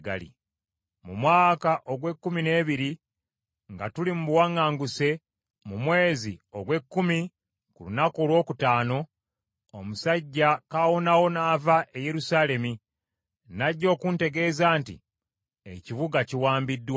Mu mwaka ogw’ekkumi n’ebiri nga tuli mu buwaŋŋanguse, mu mwezi ogw’ekkumi ku lunaku olwokutaano, omusajja kaawonawo n’ava e Yerusaalemi n’ajja okuntegeeza nti, “Ekibuga kiwambiddwa.”